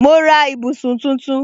Mo ra ibùsùn tuntun